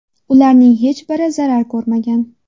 Ularning hech biri zarar ko‘rmagan.